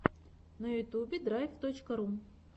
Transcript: на ютьюбе драйв точка ру